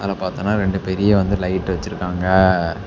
அத பார்த்தன ரெண்டு பெரிய வந்து லைட் வச்சிருக்காங்க.